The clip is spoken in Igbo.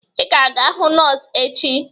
Ị ga-aga hụ nọọsụ echi!